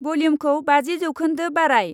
भल्युमखौ बाजि जौखोन्दो बाराय।